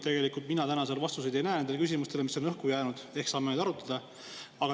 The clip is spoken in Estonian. Tegelikult mina täna vastuseid ei näe nendele küsimustele, mis on õhku jäänud, ehk saame neid arutada.